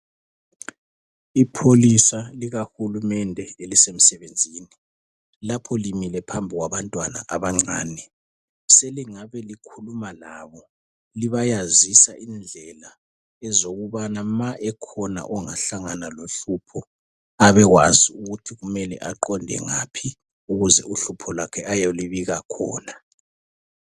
Ipholisa likahulumende lisemsebenzini lapho limile phambi kwabantwana abancane selingabe likhuluma labo libayazisa indlela zokubana nxa ekhona ongahlangana lohlupho abekwazi ukuthi kumele aqonde ngaphi ukuze uhlupho lwakhe ayelibika khona .